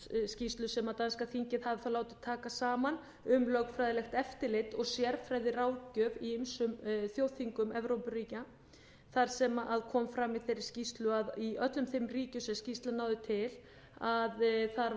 skýrslu sem danska þingið hafði látið taka saman um lögfræðilegt eftirlit og sérfræðiráðgjöf í ýmsum þjóðþingum evrópuríkja þar sem kom fram í þeirri skýrslu að í öllum þeim ríkjum sem skýrslan náði til þar var